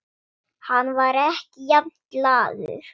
Hann var ekki jafn glaður.